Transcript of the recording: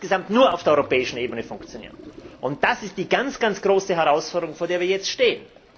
Es kann insgesamt nur auf der europäischen Ebene funktionieren. Das ist die ganz große Herausforderung, vor der wir jetzt stehen.